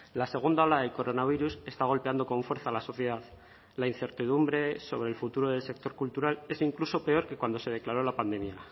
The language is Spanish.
la segunda ola del coronavirus está golpeando con fuerza a la sociedad la incertidumbre sobre el futuro del sector cultural es incluso peor que cuando se declaró la pandemia